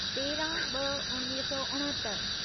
तेरहं ॿ उणिवीह सौ उणहतरि